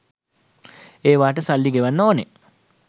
ඒවාට සල්ලි ගෙවන්න ඕනේ